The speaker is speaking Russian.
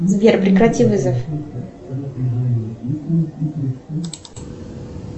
сбер прекрати вызов